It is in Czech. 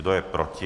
Kdo je proti?